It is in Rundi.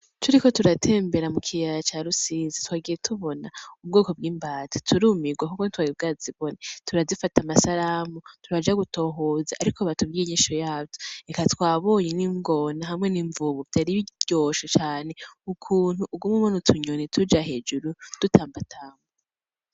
Turiko turatembera mu kiyaya ca Rusizi, twagiye tubona ubwoko bw‘ imbata turumirwa kuko tutari bwazibone, turazifata amasanamu, turaja gutohoza ariko batubwiye inyishu yavyo, eka twabonye n‘ ingona hamwe n‘ imvubu vyari biryoshe cane ukuntu uguma ubona utunyoni tuja hejuru dutambatamba .